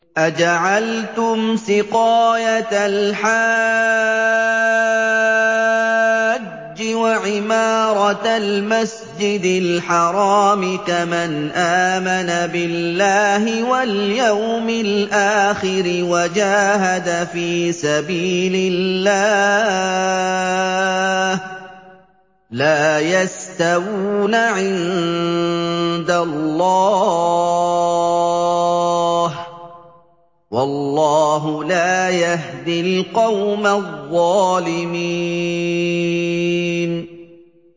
۞ أَجَعَلْتُمْ سِقَايَةَ الْحَاجِّ وَعِمَارَةَ الْمَسْجِدِ الْحَرَامِ كَمَنْ آمَنَ بِاللَّهِ وَالْيَوْمِ الْآخِرِ وَجَاهَدَ فِي سَبِيلِ اللَّهِ ۚ لَا يَسْتَوُونَ عِندَ اللَّهِ ۗ وَاللَّهُ لَا يَهْدِي الْقَوْمَ الظَّالِمِينَ